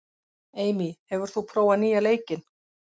Amy, hefur þú prófað nýja leikinn?